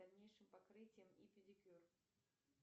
дальнейшим покрытием и педикюр